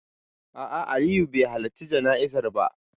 A'a, Aliyu bai halarci jana'izar ba.